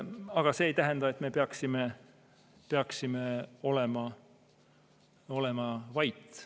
Aga see ei tähenda, et me peaksime olema vait.